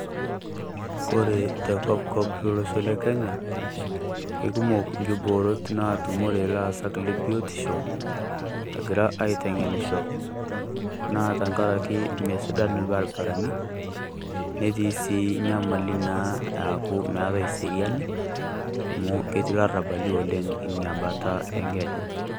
Kore te kopkop tolosho le Kenya kekumook kiboorot natumore illaasak le biotisho egira aiteng'enisho. Naa tang'araki mesidaan barabarini, netii si nyamali naa aaku meetai seriani amu ketii laarabali oleng enya baata e Kenya.